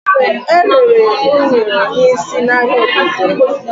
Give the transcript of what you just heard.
Erere unere n'isi n'ahia obodo m.